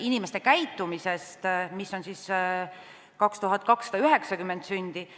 inimeste käitumise tõttu, s.o 2290 sündi.